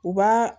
U b'a